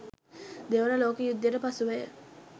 දෙවන ලෝක යුද්ධයට පසුවය.